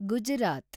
Gujarat